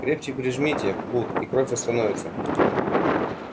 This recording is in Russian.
крепче прижмите бут и кровь остановится